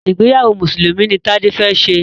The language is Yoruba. ìgbéyàwó Mùsùlùmí ní Tade fè ṣe.